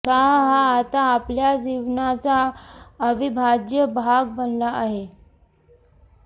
चहा हा आता आपल्या जीवनाचा अविभाज्य भाग बनला आहे